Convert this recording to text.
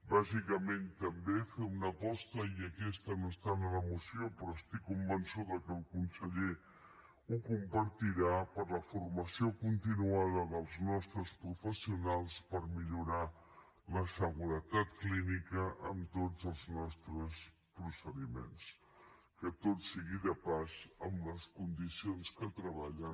bàsicament també fer una aposta i aquesta no està en la moció però estic convençuda que el conseller la compartirà per la formació continuada dels nostres professionals per millorar la seguretat clínica en tots els nostres procediments que tot sigui dit de pas en les condicions que treballen